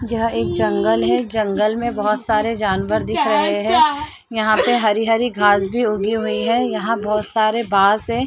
यह एक जंगल है जंगल में बहोत सारे जानवर दिख रहे है यहाँ पे हरी-हरी घास भी उगी हुई है यहाँ बहोत सारे बांस है।